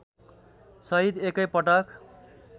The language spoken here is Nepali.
सहित एकै पटक